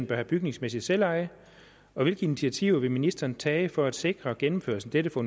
bør have bygningsmæssigt selveje og hvilke initiativer vil ministeren tage for at sikre gennemførelse af dette for